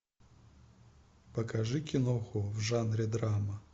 покажи киноху в жанре драма